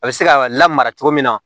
A bɛ se ka lamara cogo min na